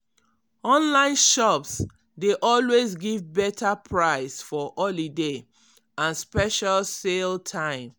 online shops dey always give better price for holiday and special sale time.